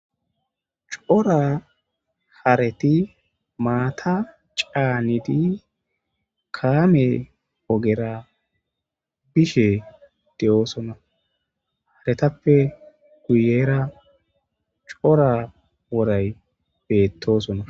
cora hareti maata caanidi kaame ogera bishe de7oosonna haretappe guyera cora woray beettosona